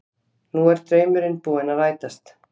Nú er draumurinn búinn að rætast